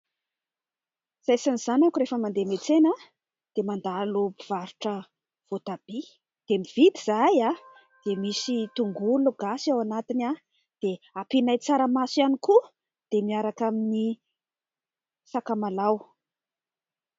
Izay sy ny zanako rehefa mandeha miantsena dia mandalo mpivarotra voatabia ; dia mividy izahay dia misy tongologasy ao anatiny dia ampianay tsaramaso ihany koa dia miaraka amin'ny sakamalaho ihany koa.